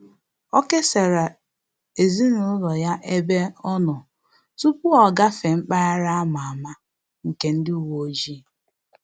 Ọ kesara ezinụlọ ya ya ebe ọ nọ tupu o gafee mpaghara a ma ama nke ndị uweojii